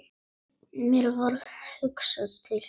Mér varð hugsað til